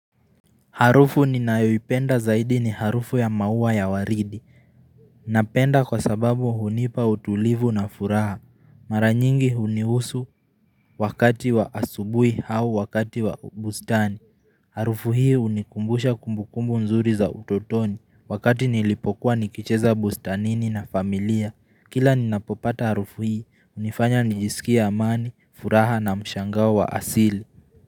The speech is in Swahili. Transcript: Harufu ninayoipenda zaidi ni harufu ya maua ya waridi. Naipenda kwa sababu hunipa utulivu na furaha. Mara nyingi hunihusu wakati wa asubuhi au wakati wa bustani. Harufu hii hunikumbusha kumbukumbu nzuri za utotoni wakati nilipokuwa nikicheza bustanini na familia. Kila ninapopata harufu hii hunifanya niisikie amani, furaha na mshangao wa asili.